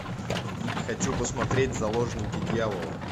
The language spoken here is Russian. хочу посмотреть заложники дьявола